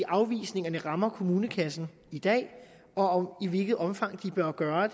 afvisningerne rammer kommunekassen i dag og i hvilket omfang de bør gøre